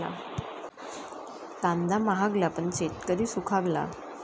कांदा महागला, पण शेतकरी सुखावला